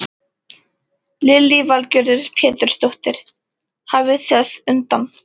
Lillý Valgerður Pétursdóttir: Hafið þið undan?